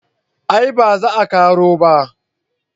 a'a ba za a karo ba